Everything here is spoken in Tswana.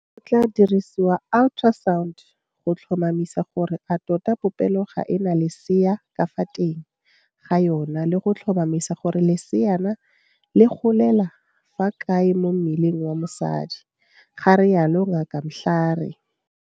Go tla diriwa ultrasound go tlhotlhomisa gore a tota popelo ga e na lesea ka fa teng ga yona le go tlhotlhomisa gore leseana le golela fa kae mo mmeleng wa mosadi, ga rialo Ngaka Mhlari.